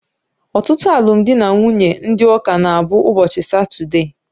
Ọtụtụ alụmdi na nwunye ndị ụka na abụ ụbọchị satude